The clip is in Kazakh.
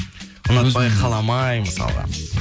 ұнатпай қаламай мысалға